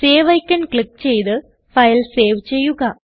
save icon click ചെയ്ത് file save ചെയ്യുക